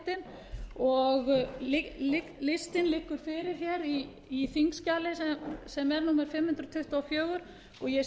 fimmtán einstaklingar hljóti ríkisborgararéttinn listinn liggur fyrir á þingskjali fimm hundruð tuttugu og fjögur og ég